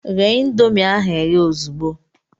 Ghe ịndomii ahụ ehe ozugbo!